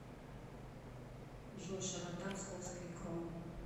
джой широта псковский кром